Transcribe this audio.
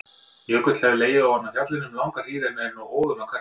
Jökull hefur legið ofan á fjallinu um langa hríð en er nú óðum að hverfa.